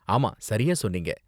ஆமா, சரியா சொன்னீங்க.